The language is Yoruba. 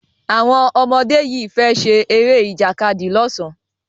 Àwon ọmọ dé yí fè ṣe Eré Ìjàkadì l ọsán.